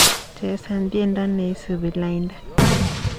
Chesan tyendo neisubi lainda